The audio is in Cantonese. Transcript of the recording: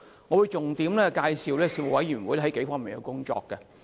我會重點介紹事務委員會在數方面的工作。